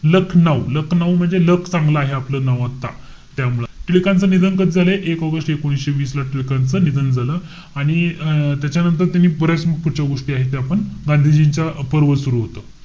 लख-नाऊ. लख-नाऊ म्हणजे luck चांगलं आहे आपलं नाव आता, त्यामुळे. टिळकांचं निधन कधी झालंय? एक ऑगस्ट एकोणीशे वीस ला, टिळकांचं निधन झालं. आणि अं त्याच्यानंतर त्यांनी बऱ्याच पुढच्या गोष्टी आहेत ते आपण गांधीजींचा पर्व सुरु होतो.